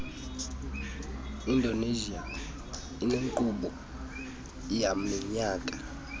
indonesia inenkqubo yaminyaka